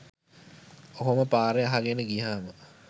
ඔහොම පාර අහගෙන ගියාම